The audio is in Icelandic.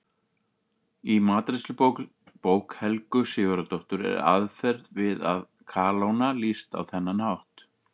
Í matreiðslubók Helgu Sigurðardóttur er aðferð við að kalóna lýst á þennan hátt: